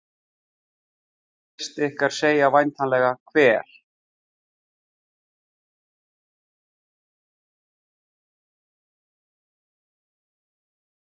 Flest ykkar segja væntanlega Hver?